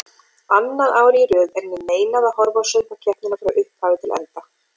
Annað árið í röð er mér meinað að horfa á söngvakeppnina frá upphafi til enda.